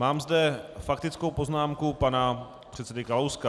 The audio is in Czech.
Mám zde faktickou poznámku pana předsedy Kalouska.